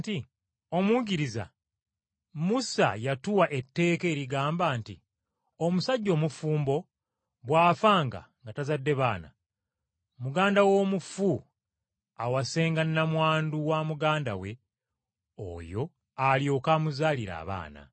“Omuyigiriza, Musa yatuwa etteeka erigamba nti omusajja omufumbo bw’afanga nga tazadde baana, muganda w’omufu awasenga nnamwandu wa muganda we oyo alyoke amuzaalire abaana.